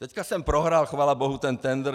Teď jsem prohrál chvála bohu ten tendr.